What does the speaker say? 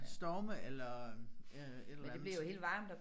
Storme eller øh et eller andet